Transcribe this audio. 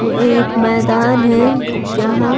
व एक मैदान है जहां--